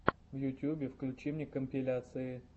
в ютюбе включи мне компиляции